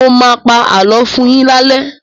Mọ máa pa àlọ́ fún yín lálé!